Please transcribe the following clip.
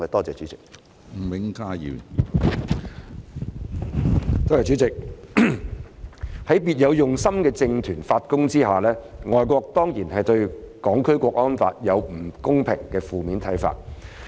主席，在別有用心的政團發功下，外國當然對《香港國安法》有不公平的負面看法。